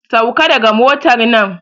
Sauka daga motar nan!